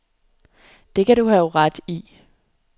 Det kan du have ret i.